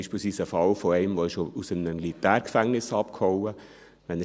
Ich kenne beispielsweise einen Fall von einem, der aus einem Militärgefängnis abgehauen ist.